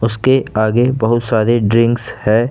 उसके आगे बहुत सारे ड्रिंक्स है।